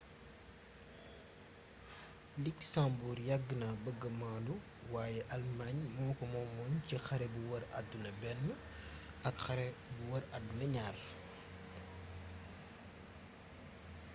luxembourg yàgg na bëgga maanu wayé alëmaañ moko moomoon ci xare bu wër addina i ak xare bu wër addina ii